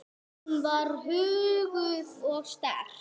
Hún var huguð og sterk.